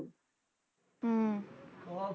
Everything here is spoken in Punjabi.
ਹਮ